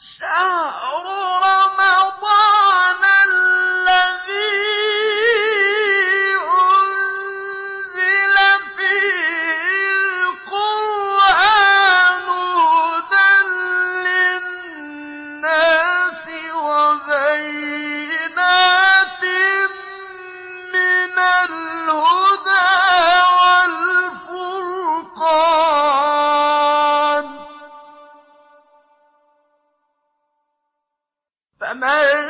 شَهْرُ رَمَضَانَ الَّذِي أُنزِلَ فِيهِ الْقُرْآنُ هُدًى لِّلنَّاسِ وَبَيِّنَاتٍ مِّنَ الْهُدَىٰ وَالْفُرْقَانِ ۚ فَمَن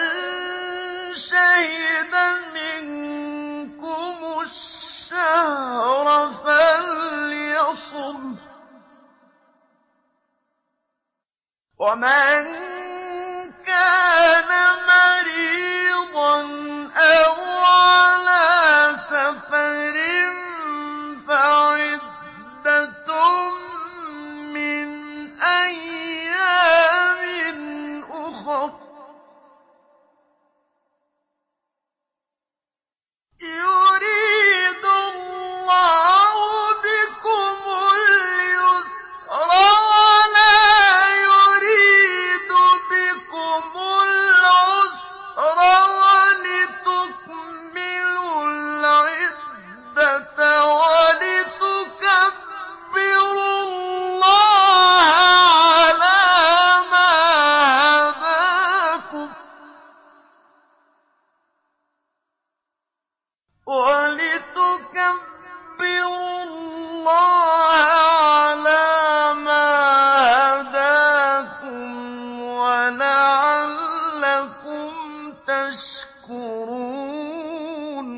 شَهِدَ مِنكُمُ الشَّهْرَ فَلْيَصُمْهُ ۖ وَمَن كَانَ مَرِيضًا أَوْ عَلَىٰ سَفَرٍ فَعِدَّةٌ مِّنْ أَيَّامٍ أُخَرَ ۗ يُرِيدُ اللَّهُ بِكُمُ الْيُسْرَ وَلَا يُرِيدُ بِكُمُ الْعُسْرَ وَلِتُكْمِلُوا الْعِدَّةَ وَلِتُكَبِّرُوا اللَّهَ عَلَىٰ مَا هَدَاكُمْ وَلَعَلَّكُمْ تَشْكُرُونَ